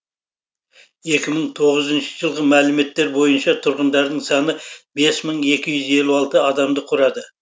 екі мың тоғызыншы жылғы мәліметтер бойынша тұрғындарының саны бес мың екі жүз елу алты адамды құрады